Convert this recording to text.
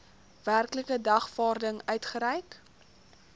werklike dagvaarding uitgereik